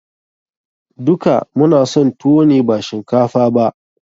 Duka mu na son tuwo ne ba shinkafa ba.